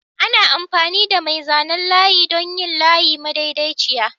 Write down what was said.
Ana amfani da mai zanen layi don yin layi madaidaiciya.